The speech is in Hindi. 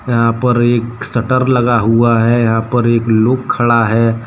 यहां पर एक शटर लगा हुआ है यहां पर एक लोग खड़ा है।